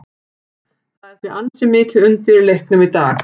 Það er því ansi mikið undir í leiknum í dag.